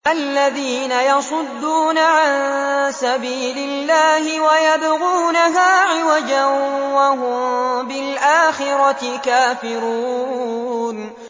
الَّذِينَ يَصُدُّونَ عَن سَبِيلِ اللَّهِ وَيَبْغُونَهَا عِوَجًا وَهُم بِالْآخِرَةِ كَافِرُونَ